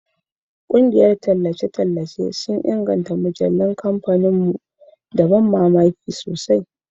Ƙungiyar tallace sun inganta mujallun kamfanin mu da ban mamaki sosai